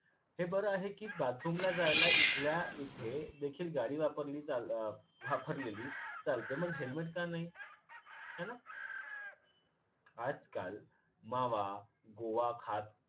हे बर आहे कि bathroom ला जायला इथल्या इथे देखील गाडी वापरलेली चाल वापरलेली चालते मग helmet का नाही हैना? आजकाल मावा, गोवा खात